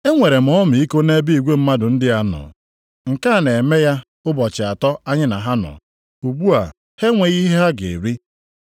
“Enwere m ọmịiko nʼebe igwe mmadụ ndị a nọ. Nke a na-eme ya ụbọchị atọ anyị na ha nọ. Ugbu a, ha enweghị ihe ha ga-eri.